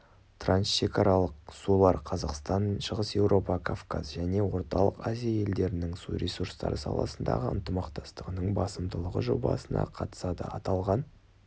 трансшекаралық сулар қазақстан шығыс еуропа кавказ және орталық азия елдерінің су ресурстары саласындағы ынтымақтастығының басымдылығы жобасына қатысады аталған